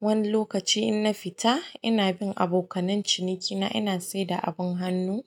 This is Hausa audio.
Wani lokaci in na fita ina bin abokanan cinikina, ina saida abin hannu.